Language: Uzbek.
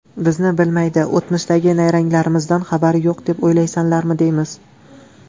Bizni bilmaydi, o‘tmishdagi nayranglarimizdan xabari yo‘q deb o‘ylaysanlarmi, deymiz.